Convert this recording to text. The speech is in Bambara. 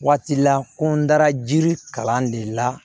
Waati la ko n dara jiri kalan de la